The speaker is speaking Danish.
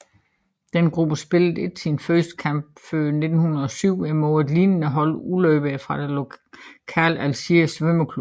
Denne gruppe spillede ikke sin første kamp før 1907 imod et lignende hold udløbere fra den lokale Aegir svømmeklub